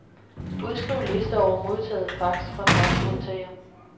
Udskriv liste over modtaget post fra faxmodtager.